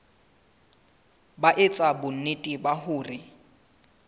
ba etsa bonnete ba hore